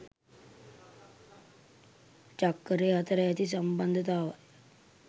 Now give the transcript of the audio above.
චක්කරය අතර ඇති සම්බන්ධතාවය